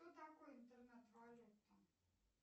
что такое интернет валюта